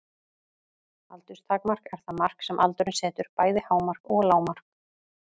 Aldurstakmark er það mark sem aldurinn setur, bæði hámark og lágmark.